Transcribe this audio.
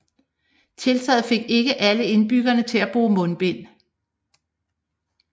Tiltaget fik ikke alle indbyggere til at bruge mundbind